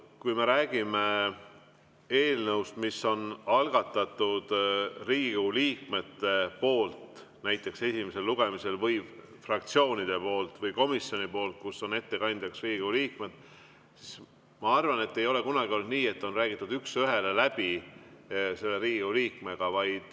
Kui me räägime eelnõust, mis on näiteks esimesel lugemisel ja mis on algatatud Riigikogu liikmete poolt või fraktsiooni poolt või komisjoni poolt ja kus on ettekandjaks Riigikogu liige, siis ei ole kunagi olnud nii, et on üks ühele läbi räägitud selle Riigikogu liikmega.